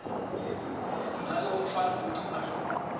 make wawutfwala umcwasho